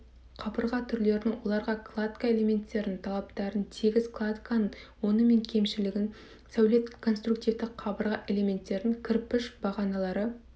қабырға түрлерін оларға кладка элементтерінің талаптарын тегіс кладканың оңы мен кемшілігін сәулет конструктивті қабырға элементтерін кірпіш бағаналары